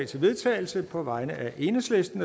til vedtagelse på vegne af enhedslisten